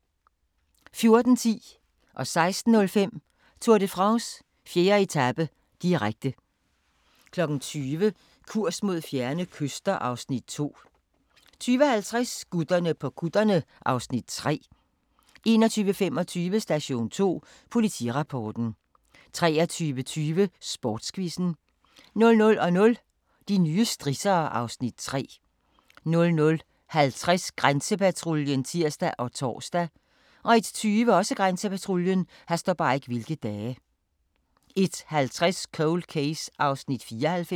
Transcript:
14:10: Tour de France: 4. etape, direkte 16:05: Tour de France: 4. etape, direkte 20:00: Kurs mod fjerne kyster (Afs. 2) 20:50: Gutterne på kutterne (Afs. 3) 21:25: Station 2 Politirapporten 23:20: Sportsquizzen 00:00: De nye strissere (Afs. 3) 00:50: Grænsepatruljen (tir og tor) 01:20: Grænsepatruljen 01:50: Cold Case (94:156)